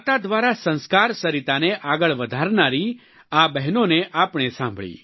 વાર્તા દ્વારા સંસ્કાર સરિતાને આગળ વધારનારી આ બહેનોને આપણે સાંભળી